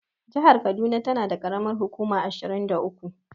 Jahar kaduna tana da ƙaramar hukuma ashirin da uku.